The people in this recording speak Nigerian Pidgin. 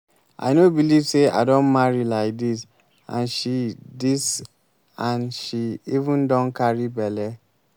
i no believe say i don marry like dis and she dis and she even don carry bele